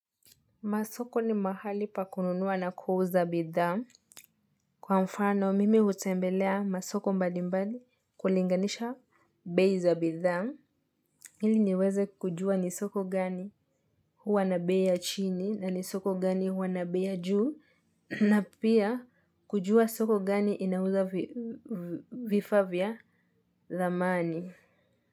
Masoko ni mahali pakununua na kuuza bidhaa. Kwa mfano, mimi utembelea masoko mbali mbali kulinganisha bei za bidhaa. Ili niweze kujua ni soko gani huwa nabei ya chini na ni soko gani huwa nabei ya juu. Na pia kujua soko gani inauza vifaa vya thamani.